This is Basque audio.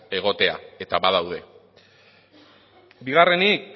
egotea eta badaude bigarrenik